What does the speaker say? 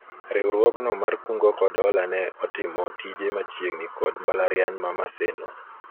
riwuogno mar kungo kod hola ne otimo tije machiegni kod mbalariany ma Maseno